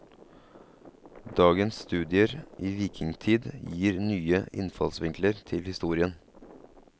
Dagens studier i vikingtid gir nye innfallsvinkler til historien.